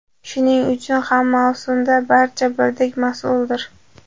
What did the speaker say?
Shuning uchun ham mavsumda barcha birdek mas’uldir.